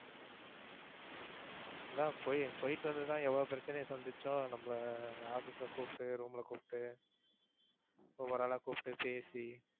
அதான் போய் போயிட்டு வந்து தான் எவ்வளோ பிரச்சனையை சந்தித்தோம். நம்மளை office ல கூப்பிட்டு, room ல கூப்பிட்டு, ஒவ்வொரு ஆளா கூப்பிட்டு பேசி